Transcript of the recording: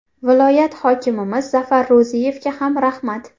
Viloyat hokimimiz Zafar Ro‘ziyevga ham rahmat.